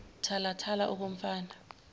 thala thala okomfana